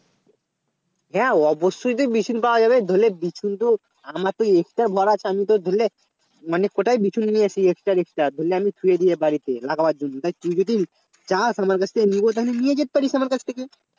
হ্যাঁ অবশ্যই তুই বিচুন পাওয়া যাবে ধরেলে বিচুন তো আমারতো Extra র বাড়া আছে আমি তো ধরলে মানে কোথায় বিচুন নিয়ে আসি extra র extra ধরলে আমি শুয়ে দিয়ে বাড়িতে লাগাবার জন্য তাই তুই যদি চাস আমার কাছ থেকে নিবো তাহলে নিয়ে যেতে পারিস আমার কাছ থেকে